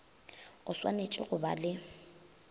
o swanetše go ba le